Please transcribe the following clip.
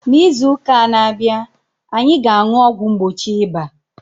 N'izu ụka a na-abịa, anyị ga-aṅụ ọgwụ mgbochi ịba.